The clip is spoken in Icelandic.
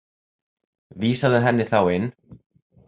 Vísaðu henni þá inn.